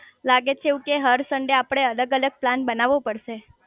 લાગે છે એવું કે હર સન્ડે આપડે અલગ અલગ પ્લાન બનાવો પડશે